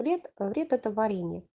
вред вред это варенье